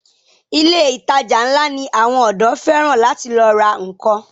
Ilé ìtajà ńlá ni àwọn ọ̀dọ́ fẹ́ràn láti lọ ra nnkan.